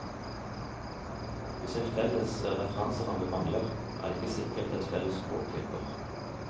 Hvis en felles referanseramme mangler, er det ikke sikkert et felles språk hjelper.